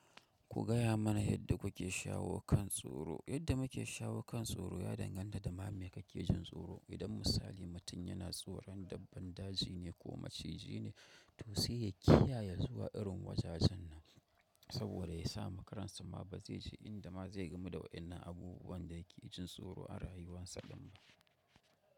Ku gaya mana yadda kuke shawo kan tsoro. Yadda muke shawo kan tsoro ya danganta da ma me kake jin tsoro. Idan misali mutum yana jin tsoron dabbar daji, ko maciji ne to sai ya kiyaye zuwa irin wajajen nan saboda ga sawa kansa ma ba zai ji inda ma zai gamu da waɗannan abubuwan da yake jin tsoro a rayuwarsa ba.